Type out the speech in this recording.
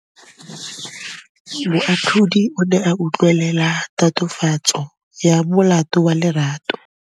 Moatlhodi o ne a utlwelela tatofatsô ya molato wa Lerato.